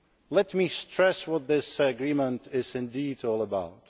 Let me stress what this agreement is indeed all about.